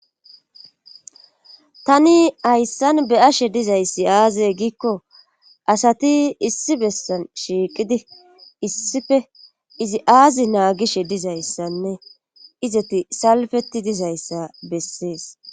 tani hayssan beyashe dizayssi aaze giikko asati issi bessan shiiqidi issife izi aazi naagishe dizayssanne izati salfeti dizayssa bessees